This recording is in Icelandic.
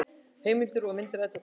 Heimildir og mynd Eddukvæði.